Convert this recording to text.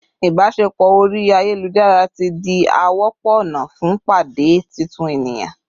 ibaṣepọ ori ayelujara ti di a wọpọ ọna fun pade titun eniyan